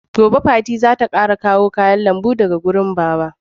Gobe fati za ta karɓo kayan lambu daga wurin Baba.